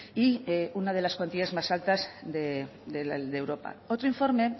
y una de las cuantías más altas de europa otro informe